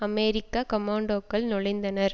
அமெரிக்க கொமோண்டோக்கள் நுழைந்தனர்